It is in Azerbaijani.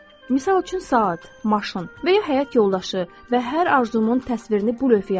Misal üçün, saat, maşın və ya həyat yoldaşı və hər arzumun təsvirini bu lövhəyə asdım.